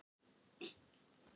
Tugir létu lífið vegna skriðufalla